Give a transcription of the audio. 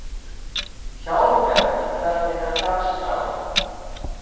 Hjálmgerður, hvernig er dagskráin?